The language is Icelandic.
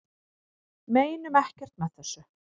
Meinum ekkert með þessu